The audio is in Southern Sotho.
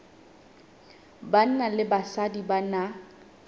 banna le basadi ba na